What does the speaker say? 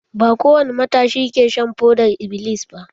Ba kowani matashi ke shan fodar-iblis ba.